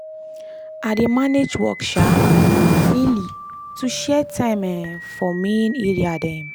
i dey manage work um daily to share time um for main area dem.